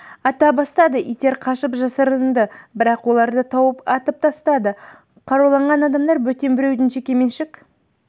ата бастады иттер қашып жасырынды бірақ оларды тауып атып тастады қаруланған адамдар бөтен біреудің жекеменшік